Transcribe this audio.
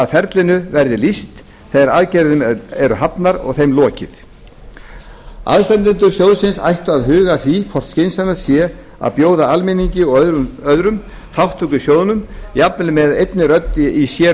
að ferlinu verði lýst þegar aðgerðir eru hafnar og þeim lokið aðstandendur sjóðsins ættu að huga að því hvort skynsamlegt sé að bjóða almenningi og öðrum þátttöku í sjóðnum jafnvel með einni rödd í sér